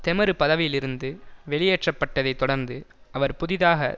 தெமரு பதவியிலிருந்து வெளியேற்றப்பட்டதைத் தொடர்ந்து அவர் புதிதாக